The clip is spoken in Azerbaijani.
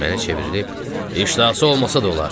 Mənə çevrilib "iştahası olmasa da olar.